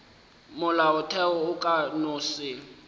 molaotheo o ka no se